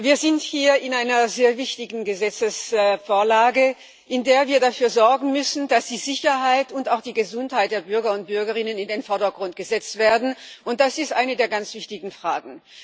Wir sind hier in einer sehr wichtigen Gesetzesvorlage, in der wir dafür sorgen müssen, dass die Sicherheit und auch die Gesundheit der Bürger und Bürgerinnen in den Vordergrund gestellt werden, und das ist eine der ganz wichtigen Fragen.